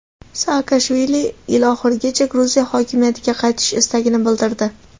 Saakashvili yil oxirigacha Gruziya hokimiyatga qaytish istagini bildirdi.